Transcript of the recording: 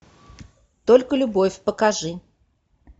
только любовь покажи